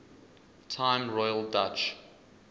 time royal dutch